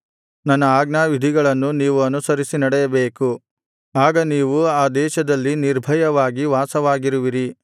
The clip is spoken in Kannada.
ನನ್ನ ಆಜ್ಞಾವಿಧಿಗಳನ್ನು ನೀವು ಅನುಸರಿಸಿ ನಡೆಯಬೇಕು ಆಗ ನೀವು ಆ ದೇಶದಲ್ಲಿ ನಿರ್ಭಯವಾಗಿ ವಾಸವಾಗಿರುವಿರಿ